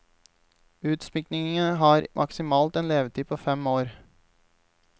Utsmykningene har maksimalt en levetid på fem år.